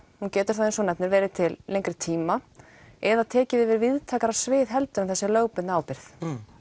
hún getur þá eins og þú nefnir verið til lengri tíma eða tekið yfir víðtækara svið heldur en þessi lögbundna ábyrgð